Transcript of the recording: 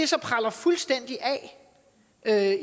så preller fuldstændig af